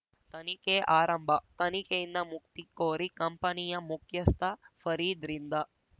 ತನಿಖೆ ಆರಂಭ ತನಿಖೆಯಿಂದ ಮುಕ್ತಿ ಕೋರಿ ಕಂಪನಿಯ ಮುಖ್ಯಸ್ಥ ಫರೀದ್‌ರಿಂದ